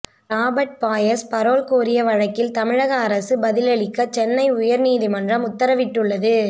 Robert Payas parole கோரிய வழக்கில் தமிழக அரசு பதிலளிக்க சென்னை உயர்நீதிமன்றம் உத்தரவிட்டுள்ளது